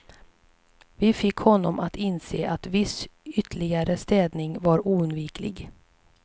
Vi fick honom att inse att viss ytterligare städning var oundviklig.